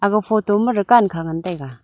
ag photo ma dukan kha ngan taiga.